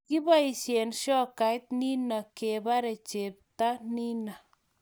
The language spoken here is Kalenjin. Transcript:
Kikiboisie shokait nino kebare chepto nino